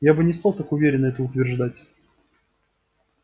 я бы не стал так уверенно это утверждать